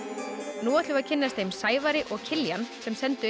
nú ætlum við að kynnast þeim Sævari og Kiljan sem sendu inn